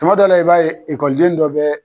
Tuma dɔ la i b'a ye ekɔliden dɔ bɛ